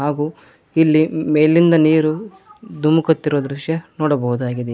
ಹಾಗು ಇಲ್ಲಿ ಮೇಲಿಂದ ನೀರು ದುಮುಕುತ್ತಿರುವ ದೃಶ್ಯ ನೋಡಬಹುದಾಗಿದೆ.